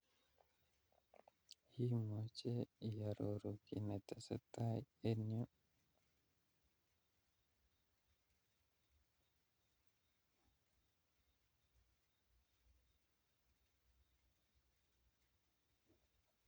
Imuchi iororu kiy netetai en yu